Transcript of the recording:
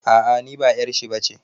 A a niba 'yar shi'a bace.